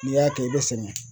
N'i y'a kɛ i bɛ sɛgɛn.